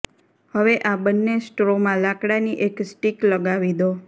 હવે આ બંને સ્ટ્રોમાં લાકડાની એક સ્ટિક લગાવી દો